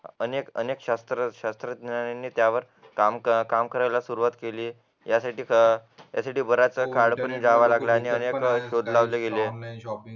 अनेक अनेक शास्त्र शास्त्र शास्त्रज्ञांनी त्यावर काम काम करायला सुरुवात केली त्यापैकी यासाठी बराच काळ जावा लागला आणि